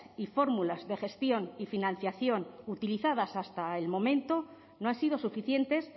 y fórmulas de gestión y financiación utilizadas hasta el momento no han sido suficientes